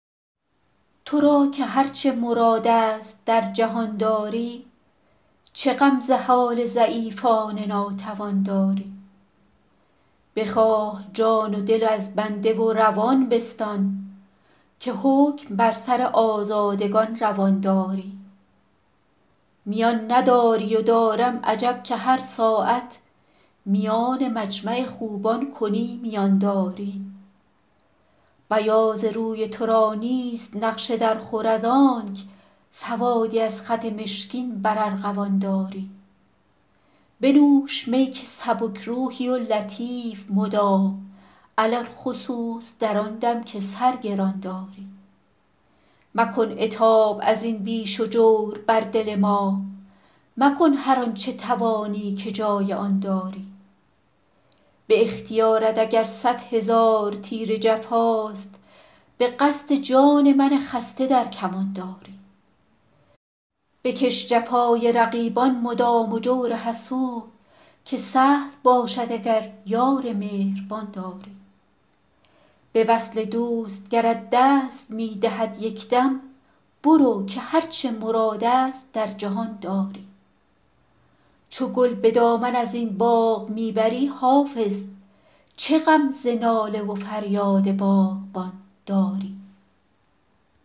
تو را که هر چه مراد است در جهان داری چه غم ز حال ضعیفان ناتوان داری بخواه جان و دل از بنده و روان بستان که حکم بر سر آزادگان روان داری میان نداری و دارم عجب که هر ساعت میان مجمع خوبان کنی میان داری بیاض روی تو را نیست نقش درخور از آنک سوادی از خط مشکین بر ارغوان داری بنوش می که سبک روحی و لطیف مدام علی الخصوص در آن دم که سر گران داری مکن عتاب از این بیش و جور بر دل ما مکن هر آن چه توانی که جای آن داری به اختیارت اگر صد هزار تیر جفاست به قصد جان من خسته در کمان داری بکش جفای رقیبان مدام و جور حسود که سهل باشد اگر یار مهربان داری به وصل دوست گرت دست می دهد یک دم برو که هر چه مراد است در جهان داری چو گل به دامن از این باغ می بری حافظ چه غم ز ناله و فریاد باغبان داری